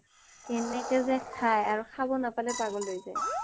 কেনেকৈ যে খাই আৰু খাব নাপালে পাগল হৈ যায়